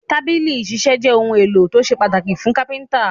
Tábìlì ìṣiṣẹ́ jẹ́ ohun-èlò tó ṣe pàtàkì fún Kápẹ́ńtà.